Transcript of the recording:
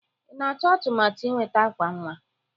Ị na-atụ atụmatụ ịnweta àkwà nwa?